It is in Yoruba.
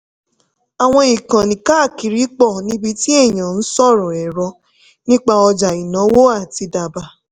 àwọn ìkànnì káàkiri pọ̀ níbi tí èèyàn ń sọ èrò nípa ọjà ìnáwó àti dábàá.